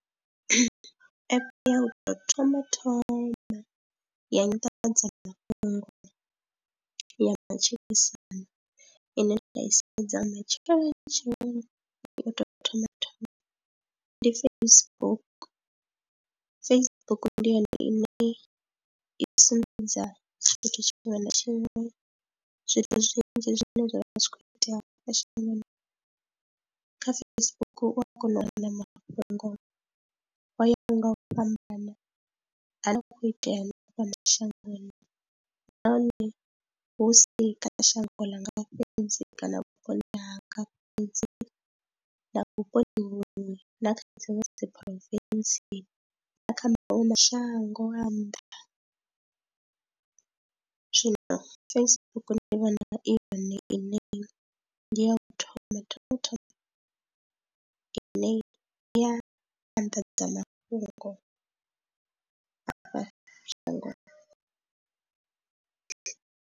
Ya u tou thoma thoma ya nyanḓadzamafhungo ya matshilisano ine nda i sedza matsheloni tsheloni u tou thoma thoma ndi Facebook, Facebook ndi yone ine ya sumbedza futhi tshiṅwe na tshiṅwe zwithu zwinzhi zwine zwavha zwi kho itea shangoni kha Facebook u a kona u wana mafhungo ngori ho ya ho nga u fhambana ane vha khou itea fhano shangoni, nahone hu si kana shango langa fhedzi kana vhuponi hanga fhedzi na vhuponi vhuṅwe na kha dziṅwe dzi province na kha maṅwe mashango a nnḓa. Zwino Facebook ndi vhona i yone iṋe ndi ya u thoma ine i a anḓadza mafhungo a fha shangoni.